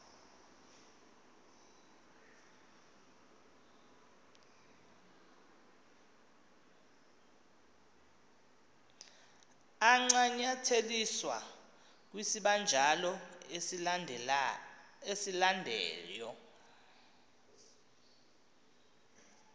ancanyatheliswe kwisibanjalo esilandelyo